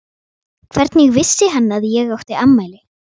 Hvernig vissi hann að ég átti afmæli?